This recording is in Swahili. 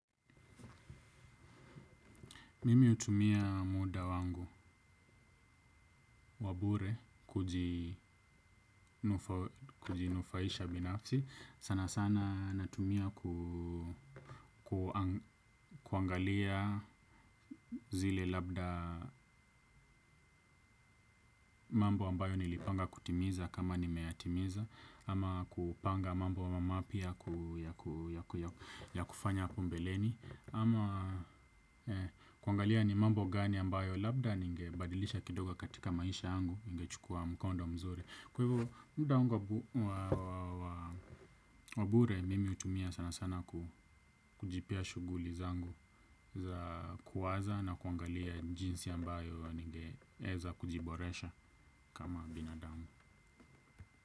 Mimi utumia muda wangu wabure kujinufaisha binafsi. Sana sana natumia kuangalia zile labda mambo ambayo nilipanga kutimiza kama nimeyatimiza. Ama kupanga mambo mapya ya kufanya hapo mbeleni. Ama kuangalia ni mambo gani ambayo labda ninge badilisha kidoga katika maisha yangu. Ningechukua mkonda mzuri. Kwa hivyo muda wangu wabure mimi utumia sana sana kujipia shuguli zangu za kuwaza na kuangalia jinsi ambayo ningeza kujiboresha kama binadamu.